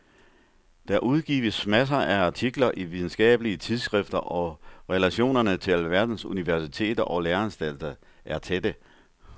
Der udgives masser af artikler i videnskabelige tidsskrifter og relationerne til alverdens universiteter og læreanstalter er tætte.